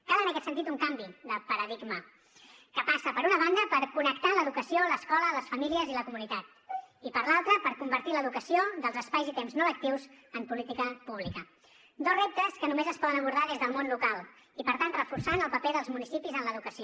cal en aquest sentit un canvi de paradigma que passa per una banda per connectar l’educació l’escola les famílies i la comunitat i per l’altra per convertir l’educació dels espais i temps no lectius en política pública dos reptes que només es poden abordar des del món local i per tant reforçant el paper dels municipis en l’educació